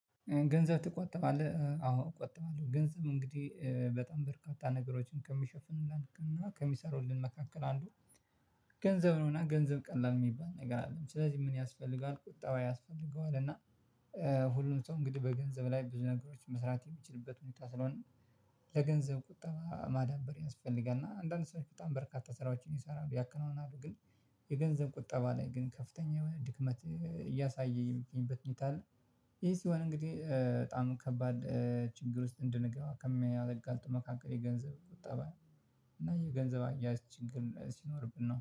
ገንዘብ ትቆጠባለህ አዎ እቆጥባለው። ገንዘብ እንግዲህ በጣም በርካታ ነገሮችን ከሚሸፍኑልን እና ከሚሰሩልን መካከል አንዱ ገንዘብ ነው። እና ገንዘብ ቀላል የሚባል ነገር አይደለም። ስለዚህ ምን ያስፈልጋል ቁጠባ ያስፈልገዋል። እና ሁሉም ሰው እንግዲህ በገንዘብ ላይ ብዙ ነገሮች መስራት የሚችልበት ሁኔታ ስለሆነ ለገንዘብ ቁጠባ ማዳበር ያስፈልጋል። እና አንዳአንድ ሰዎች በጣም በርካታ ስራዎችን ይሰራሉ ያከናውናሉ። ግን የገንዘብ ቁጠባ ላይ ግን ከፍተኛ የሆነ ድክመት እያሳየኝ የምገኝበት ሂኔታ አለ። ይህ ሲሆን እንግዲህ በጣም ከባድ ችግር ውስጥ እንድንገባ ከሚያጋልጡ መካከል የገንዘብ ቁጠባ እና የገንዘብ አያያዝ ችግር ሲኖርብን ነው